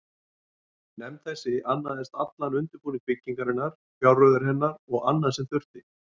Nefnd þessi annaðist allan undirbúning byggingarinnar, fjárreiður hennar og annað, sem þurfti.